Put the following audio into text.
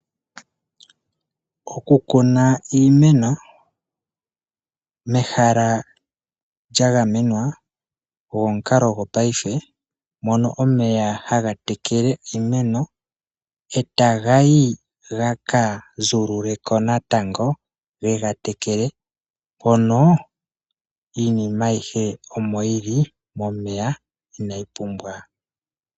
Okukuna iimeno mehala lyagamwena ogo omukalo gopaife mono omeya haga tekele iimeno etaga yi gaka zuululeko natango geye gabtekele mono inima ayihe omo yili momeya inayi oumbwa.